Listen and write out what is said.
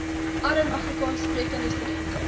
arm afrikaanssprekende studente